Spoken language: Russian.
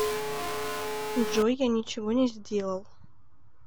джой я ничего не сделал